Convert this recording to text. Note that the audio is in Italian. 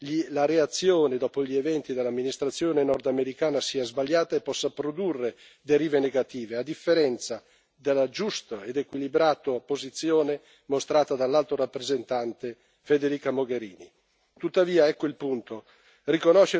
E proprio per questo considero che la reazione dell'amministrazione nordamericana dopo gli eventi sia sbagliata e possa produrre derive negative, a differenza della giusta ed equilibrata posizione mostrata dall'Alto rappresentante Federica Mogherini.